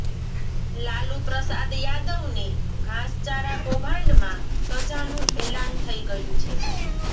લાલુ પ્રસાદ યાદવને ઘાસચારા કૌભાંડમાં સજાનું એલાન થઈ ગયુ છે